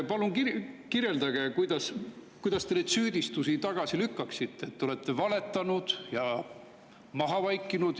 Palun kirjeldage, kuidas te lükkate tagasi neid süüdistusi, et te olete valetanud ja maha vaikinud.